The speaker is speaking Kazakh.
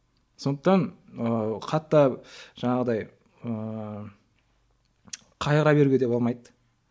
сондықтан ыыы қатты жаңағыдай ыыы қайғыра беруге де болмайды